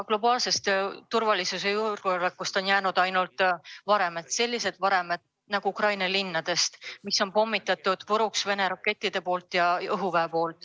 Globaalsest turvalisusest ja julgeolekust on jäänud alles ainult varemed – sellised varemed, nagu on alles jäänud Ukraina linnadest, mille on puruks pommitanud Vene raketid, Vene õhuvägi.